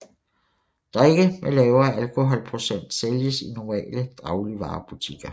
Drikke med lavere alkoholprocent sælges i normale dagligvarebutikker